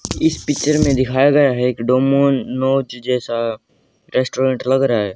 इस पिक्चर में दिखाया गया है एक डोमिनोज जैसा रेस्टोरेंट लग रहा है।